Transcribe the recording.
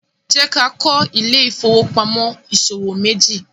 jẹ ká kọ Ile-ifowopamọ ìṣòwò meji